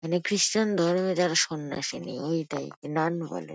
মানে খ্রিষ্টান ধর্মে যারা সন্ন্যাসী নান বলে।